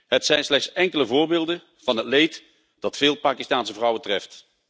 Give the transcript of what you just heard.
Het zijn slechts enkele voorbeelden van het leed dat veel Pakistaanse vrouwen treft.